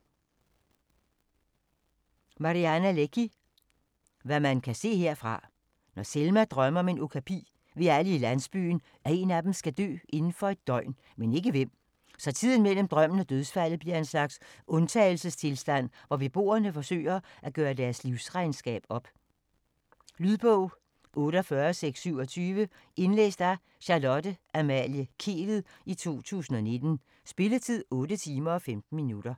Leky, Mariana: Hvad man kan se herfra Når Selma drømmer om en okapi, ved alle i landsbyen, at én af dem skal dø inden for et døgn, men ikke hvem. Så tiden mellem drømmen og dødsfaldet bliver en slags undtagelsestilstand, hvor beboerne forsøger at gøre deres livsregnskab op. Lydbog 48627 Indlæst af Charlotte Amalie Kehlet, 2019. Spilletid: 8 timer, 15 minutter.